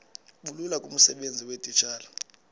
bulula kumsebenzi weetitshala